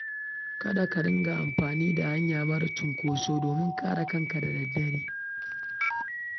Kada ka riƙa amfani da hanya marar cunkoso da dare domin kare kanka daga ɓarayi.